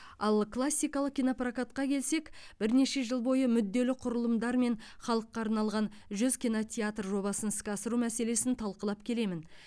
ал классикалық кинопрокатқа келсек бірнеше жыл бойы мүдделі құрылымдармен халыққа арналған жүз кинотеатр жобасын іске асыру мәселесін талқылап келемін